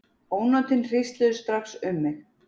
Ónotin hrísluðust strax um mig.